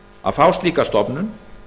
að fá slíka stofnun